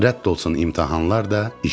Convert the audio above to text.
Rədd olsun imtahanlar da, iş də.